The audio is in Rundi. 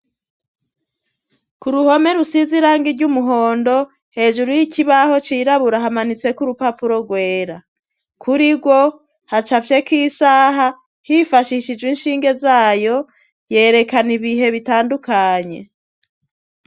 Ku ruhome rusize irangi iry'umuhondo hejuru y'ikibaho cirabura hamanitse k'urupapuro rwera kuri go hacafye k'isaha hifashishijwe inshinge zayo yerekana ibihe bitandukanye.